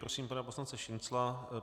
Prosím pana poslance Šincla.